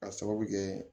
K'a sababu kɛ